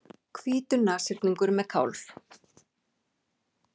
Hvítur nashyrningur með kálf.